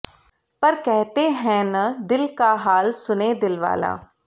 पर कहते हैं न दिल का हाल सुने दिलवाला